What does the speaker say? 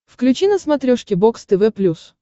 включи на смотрешке бокс тв плюс